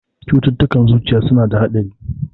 Cututtukan zuciya suna da haɗari.